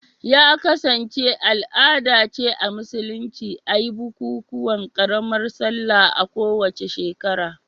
Ya kasance al'ada ce a Musulunci a yi bukukuwan karamar Sallah a kowace shekara